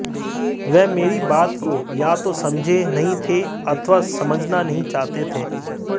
वह मेरी बात को या तो समझे नहीं थे अथवा समझना नहीं चाहते थे